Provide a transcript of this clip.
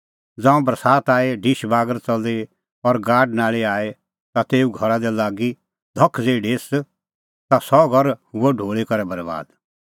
ज़ांऊं बरसात आई ढिश बागर च़ली और गाडानाल़ी आई ता तेऊ घरा दी लागी धख ज़ेही ढेस ता सह घर हुअ ढूल़ी करै बरैबाद